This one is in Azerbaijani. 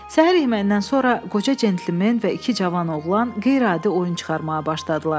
Səhər yeməyindən sonra qoca centlimen və iki cavan oğlan qeyri-adi oyun çıxarmağa başladılar.